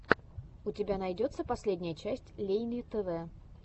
у тебя найдется последняя часть лейни тв